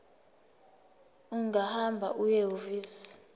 ungahamba uye ehhovisi